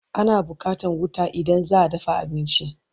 Ana buƙatan wuta idan zaa dafa abinci